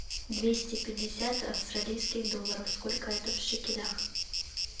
двести пятьдесят австралийских долларов сколько это в шекелях